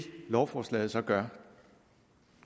lovforslaget så gør er